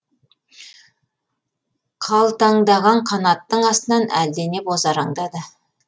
қалтаңдаған қанаттың астынан әлдене бозараңдады